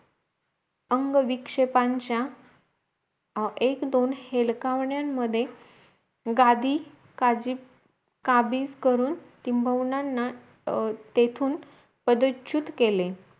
अंग विक्ष्येपांच्या एक दोन हेलकावण्यांमधे गादी काजी काबीज करून टिम्बवुनांना तेथून पदचुत केले